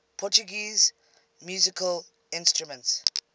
portuguese musical instruments